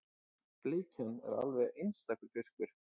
Bleikjan er alveg einstakur fiskur